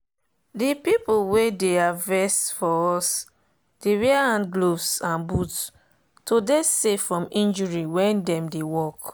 the people wey dey harvest fior us dey wear hand gloves and boot to dey safe from injury when dem dey work.